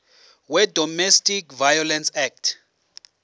wedomestic violence act